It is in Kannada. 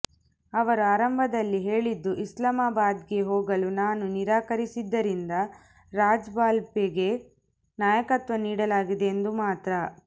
ಅವರು ಆರಂಭದಲ್ಲಿ ಹೇಳಿದ್ದು ಇಸ್ಲಾಮಾಬಾದ್ಗೆ ಹೋಗಲು ನಾನು ನಿರಾಕರಿಸಿದ್ದರಿಂದ ರಾಜ್ಪಾಲ್ಗೆ ನಾಯಕತ್ವ ನೀಡಲಾಗಿದೆ ಎಂದು ಮಾತ್ರ